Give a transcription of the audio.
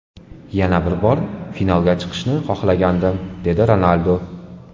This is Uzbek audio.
Yana bir bor finalga chiqishni xohlagandim”, – dedi Ronaldu.